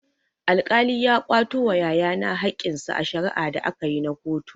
Alkali ya kwato wa yaya na hakkinsa a shari'a da akayi na kotu.